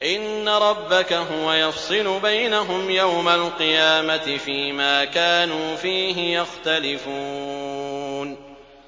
إِنَّ رَبَّكَ هُوَ يَفْصِلُ بَيْنَهُمْ يَوْمَ الْقِيَامَةِ فِيمَا كَانُوا فِيهِ يَخْتَلِفُونَ